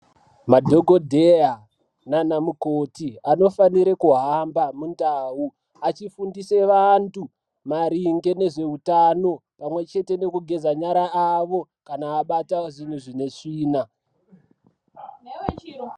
Madhokodheya naana mukoni anofanire kuhamba mundau achifundise vanhu maringe nezveutano pamwe chete nekugeza nyara avo kana abata zvinhu zvine tsvina.